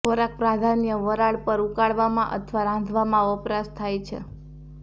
ખોરાક પ્રાધાન્ય વરાળ પર ઉકાળવામાં અથવા રાંધવામાં વપરાશ થાય છે